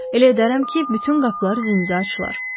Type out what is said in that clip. Elə edərəm ki, bütün qapılar üzünüzə açılar.